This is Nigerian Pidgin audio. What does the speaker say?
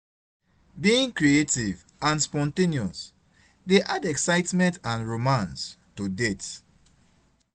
Being creative and spontaneous dey add excitement and romance to dates.